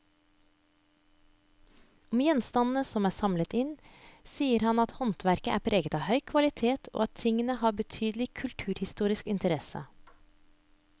Om gjenstandene som er samlet inn, sier han at håndverket er preget av høy kvalitet og at tingene har betydelig kulturhistorisk interesse.